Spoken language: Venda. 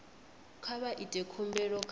kha vha ite khumbelo kha